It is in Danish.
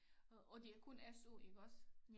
Og og det er kun SU iggås